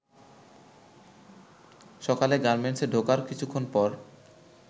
সকালে গার্মেন্টসে ঢোকার কিছুক্ষণ পর